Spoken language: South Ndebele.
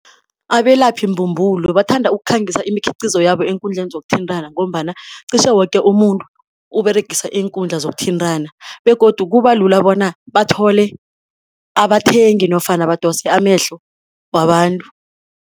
Abelaphi mbumbulo bathanda ukukhangisa imikhiqizo yabo eenkundleni zokuthintana ngombana cishe woke umuntu uberegisa iinkundla zokuthintana begodu kuba lula bona bathole abathengi nofana badose amehlo wabantu.